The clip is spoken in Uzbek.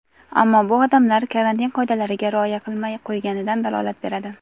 Ammo bu odamlar karantin qoidalariga rioya qilmay qo‘yganidan dalolat beradi.